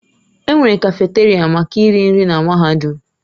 Enwere kafeteria maka iri nri na mahadum.